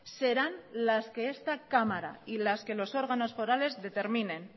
serán las que esta cámara y las que los órganos forales determinen